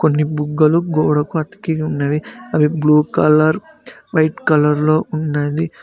కొన్ని బుగ్గలు గోడకు అతికి ఉన్నవి అవి బ్లూ కలర్ వైట్ కలర్లో ఉన్నది.